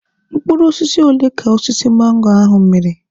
Mkpụrụ osisi ole ka osisi mango ahụ mịrị?